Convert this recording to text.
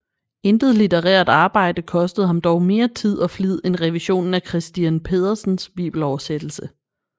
Intet litterært arbejde kostede ham dog mere tid og flid end revisionen af Christiern Pedersens bibeloversættelse